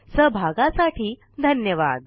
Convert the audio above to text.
सहभागासाठी धन्यवाद